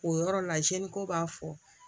O yɔrɔ la ko b'a fɔ